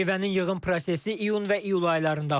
Meyvənin yığım prosesi iyun və iyul aylarında aparılır.